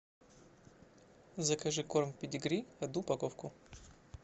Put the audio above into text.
закажи корм педигри одну упаковку